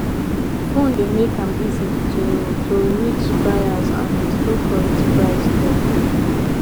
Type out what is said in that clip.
phone dey make am easy to to reach buyers and do correct price talk